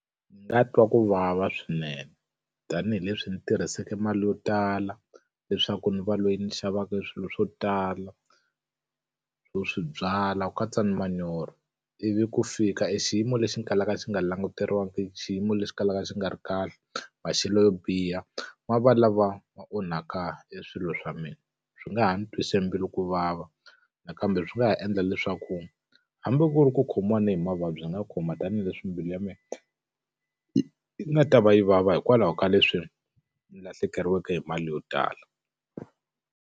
Ndzi nga twa ku vava swinene. Tanihileswi ni tirhise mali yo tala leswaku ndzi va loyi ni xavaka swilo swo tala swo swi byala ku katsa na manyoro, ivi ku fika e xiyimo lexi xi kalaka xi nga languteriwangiki, xiyimo lexi kalaka xi nga ri kahle, maxelo yo biha ma va lava ma onhaka hi swilo swa mina. Swi nga ha ni twisa mbilu ku vava, nakambe swi nga ha endla leswaku hambi ku ri ku khomiwa ni hi mavabyi ya nga khoma tanihileswi mbilu ya mina, yi nga ta va yi vava hikwalaho ka leswi ni lahlekeriweke hi mali yo tala.